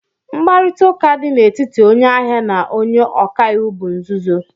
Mkparịta ụka dị n'etiti onye ahịa na onye ọka iwu bụ nzuzo